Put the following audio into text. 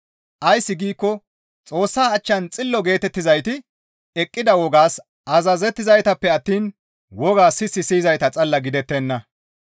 Ays giikko Xoossa achchan xillo geetettizayti eqqida wogaas azazettizaytappe attiin wogaa sis siyizayta xalla gidettenna.